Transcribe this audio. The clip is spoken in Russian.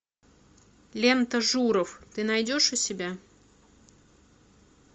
лента журов ты найдешь у себя